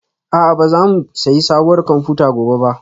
A'a ba za mu sayi sabuwar kwamfuta gobe ba